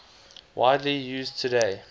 widely used today